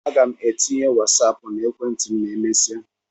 A ga m etinye Wasáápu na ekwentị m ma emesia